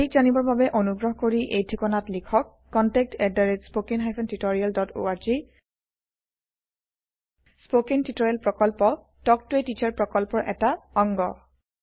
অধিক জানিবৰ বাবে অনুগ্ৰহ কৰি এই ঠিকনাত লিখক contactspoken tutorialorg স্পকেন টিওটৰিয়েলৰ প্ৰকল্প তাল্ক ত a টিচাৰ প্ৰকল্পৰ এটা অংগ